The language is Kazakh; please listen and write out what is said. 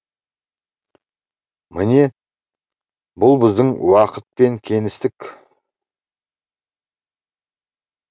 міне бұл біздің уақыт пен кеңістік